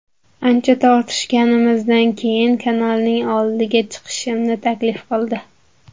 Ancha tortishganimizdan keyin kanalning oldiga chiqishimni taklif qildi.